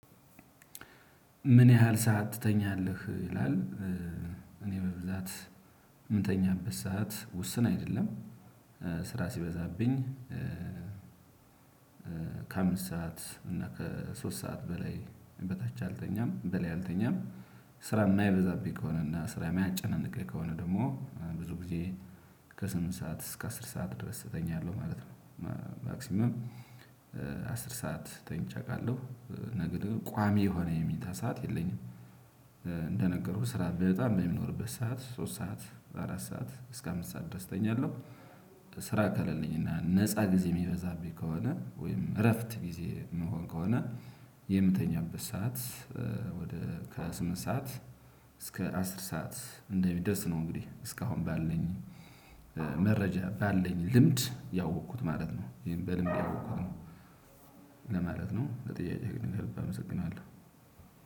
ምን ያህል ሰዓት ትተኛለህ ይላል? እኔ በብዛት የምተኛበት ሰዓት ውስን አይደለም። ስራ ሲበዛብኝ ከአምስት ሰዓት እና ከሶስት ሰዓት በላይ በታች አልተኛም በላይ አልተኛም። ስራ የማይበዛብኝ ከሆነ እና ስራ ማያጨነነቀኝ ከሆነ ደግሞ ብዙ ጊዜ ከስምንት ሰዓት እስከ አስር ሰዓት ድረስ እተኛለሁ ማለት ነው። ማክሲመም አስር ሰዓት ተኝቼ አውቃለሁ ነገር ግን ቋሚ የሆነ የመኝታ ሰዓት የለኝም። እንደነገርኩህ ስራ በጣም በሚኖርበት ሰዓት ሶስት ሰዓት አራት ሰዓት እስከ አምስት ሰዓት ድረስ እተኛለሁ። ስራ ከሌለኝና ነፃ ጊዜ የሚበዛብኝ ከሆነ ወይም እረፍት ጊዜ የምንሆን ከሆነ የምተኛበት ሰዓት ወደ ከስምንት ሰዓት እስከ አስር ሰዓት እንደሚደርስ ነው። እንግዲህ እስካሁን ባልነኝ መረጃ ባለኝ ልምድ ያወቅኩት ማለት ነው። ይሄን በልምድ ያወቅኩት ነው። ለማለት ነው ለጥያቄ ከልብ አመሰግናለሁ።